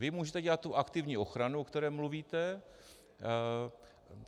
Vy můžete dělat tu aktivní ochranu, o které mluvíte.